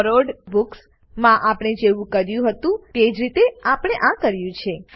borrowed books માં આપણે જેવું કર્યું હતું તે રીતે જ આપણે આ કર્યું છે